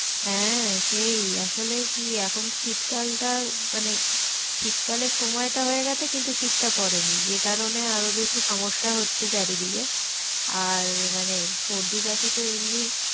হ্যাঁ সেই আসলে কি এখন শীত কালটা মানে শীত কালে সময়টা হয়ে গেছে কিন্তু শীতটা পড়েনি। যে কারণে আরো বেশি সমস্যা হচ্ছে চারি দিকে আর মানে সর্দি কাশি তো এমনি,